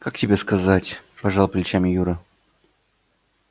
как тебе сказать пожал плечами юра